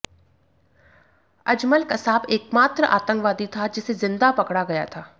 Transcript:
अजमल कसाब एकमात्र आतंकवादी था जिसे जिंदा पकड़ा गया था